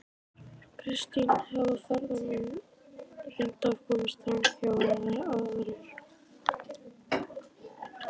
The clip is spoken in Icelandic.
Kristján: Hafa ferðamenn reynt að komast framhjá eða aðrir?